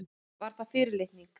Var það fyrirlitning?